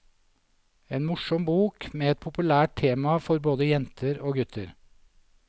En morsom bok med et populært tema for både jenter og gutter.